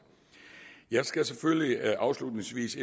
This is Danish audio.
jeg skal afslutningsvis